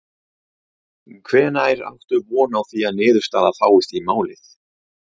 Þorbjörn: Hvenær áttu von á því að niðurstaða fáist í málið?